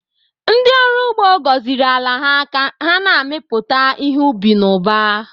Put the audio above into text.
Ndị ọrụ ugbo gọziri ala ha ka ha mịpụta ihe ubi n'ụba.